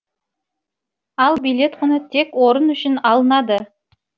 ал билет құны тек орын үшін алынады